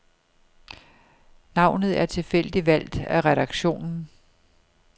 Navnet er tilfældigt valgt af redaktionen.